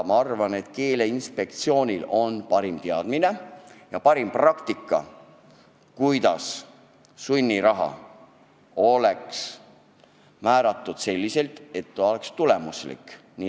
Ma arvan, et Keeleinspektsioonil on parim teadmine ja parim praktika, kuidas määrata sunniraha selliselt, et see oleks tulemuslik.